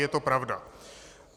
Je to pravda.